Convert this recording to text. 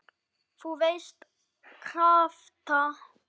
þú veist- krafta.